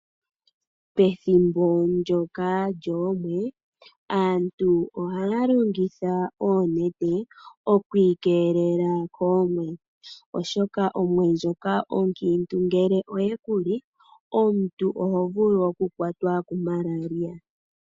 Pethimbo lyoomwe aantu ohaalongitha oonete okwiikelela koomwe, oshoka omwene ndjoka onkiintu ngele oye kuli, omuntu ohovulu kukwatwa ku malaria.